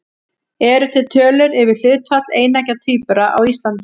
Eru til tölur yfir hlutfall eineggja tvíbura á Íslandi?